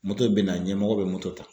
bɛ na ɲɛmɔgɔ bɛ ta.